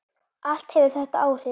Allt hefur þetta áhrif.